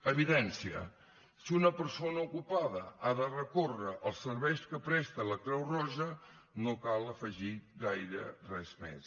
evidència si una persona ocupada ha de recórrer als serveis que presta la creu roja no cal afegir gaire res més